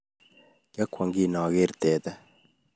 Kyakwong kingogeer teta